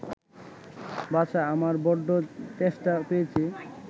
বাছা, আমার বড্ড তেষ্টা পেয়েছে